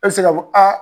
E bɛ se k'a fɔ aa